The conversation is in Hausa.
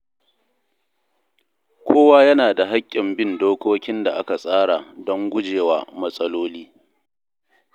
Kowa yana da hakkin bin dokokin da aka tsara don guje wa matsaloli.